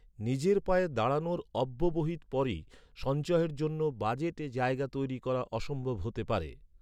নিজের পায়ে দাঁড়ানোর অব্যবহিত পরেই সঞ্চয়ের জন্য বাজেটে জায়গা তৈরি করা অসম্ভব হতে পারে।